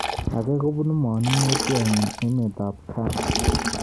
Age kobunu manung'otyot nyi emet ab ghana